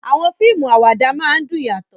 Àwọn fíìmù àwàdà máa ń dùn yàtọ̀